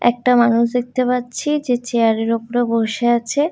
একটা মানুষ দেখতে পাচ্ছি যে চেয়ার -এর ওপরে বসে আছে।